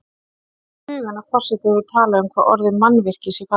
Það kemur í hugann að forseti hefur talað um hvað orðið mannvirki sé fallegt.